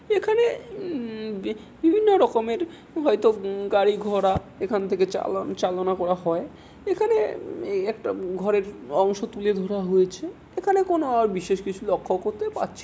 এখানে উম কি বিভিন্ন রকমের হয়তো গাড়ি ঘোড়া এখান থেকে চালান চালনা করা হয়। এখানে একটা ঘরের অংশ তুলে ধরা হয়েছে। এখানে আর কোন বিশেষ কিছু লক্ষ্য করতে পাচ্ছি--